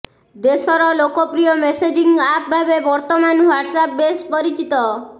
ଦେଶର ଲୋକପ୍ରିୟ messaging app ଭାବେ ବର୍ତ୍ତମାନ ହ୍ୱାଟସଆପ ବେଶ୍ ପରିଚିତ